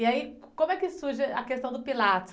E aí, como é que surge a questão do pilates?